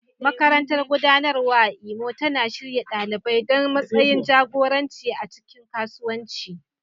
Makarantar Gudanarwa a Imo tana shirya ɗalibai don matsayin jagoranci a cikin kasuwanci.